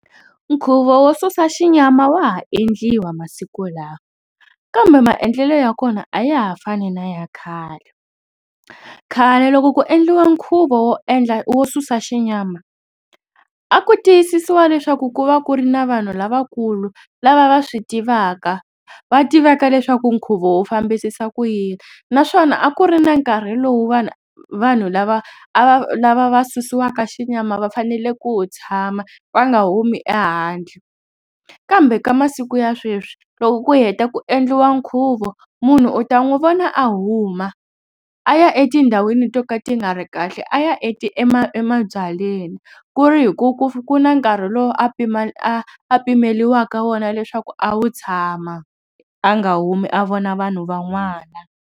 Nkhuvo wo susa xinyama wa ha endliwa masiku lawa kambe maendlelo ya kona a ya ha fani na ya khale. Khale loko ku endliwa nkhuvo wo endla wo susa xinyama a ku tiyisisiwa leswaku ku va ku ri na vanhu lavakulu lava va swi tivaka. Va tivaka leswaku nkhuvo wu fambisisa ku yini naswona a ku ri na nkarhi lowu vanhu vanhu lava a va lava va susiwaka xinyama va fanele ku wu tshama va nga humi ehandle kambe ka masiku ya sweswi loko ku heta ku endliwa nkhuvo munhu u ta n'wi vona a huma a ya etindhawini to ka ti nga ri kahle. A ya emabyalweni ku ri hi ku ku ku na nkarhi lowu a pima a pimeriwaka leswaku a wu tshama a nga humi a vona vanhu van'wana.